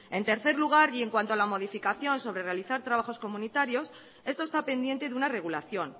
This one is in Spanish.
en tercer lugar y en cuanto a la modificación sobre realizar trabajos comunitarios esto está pendiente de una regulación